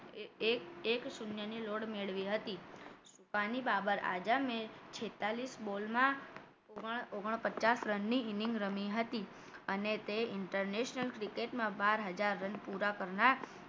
એક એક શૂન્યની લોડ મેળવી હતી છુપારી બાબર આજમે છેતાલીશ બોલમા ઓગન ઓગન પચાસ રનની inning રમી હતી અને તે inter national cricket માં બાર હજાર રન પુરા કરનાર